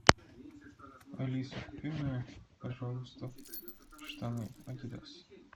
алиса купи мне пожалуйста штаны адидас